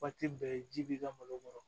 bɛɛ ji b'i ka malo kɔrɔ